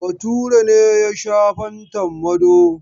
Bature ne ya sha fantan Mado.